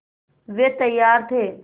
वे तैयार थे